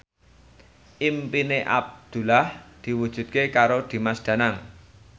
impine Abdullah diwujudke karo Dimas Danang